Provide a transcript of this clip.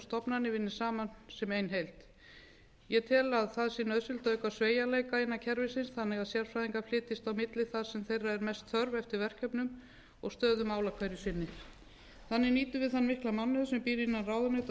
stofnana vinni saman sem ein heild ég tel að það sé nauðsynlegt að auka sveigjanleika innan kerfisins þannig að sérfræðingar flytjist á milli þar sem þeirra er mest þörf eftir verkefnum og stöðu mála hverju sinni þannig nýtum við þann mikla mannauð sem býr innan ráðuneyta og